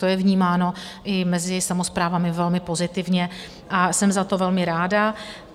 To je vnímáno i mezi samosprávami velmi pozitivně a jsem za to velmi ráda.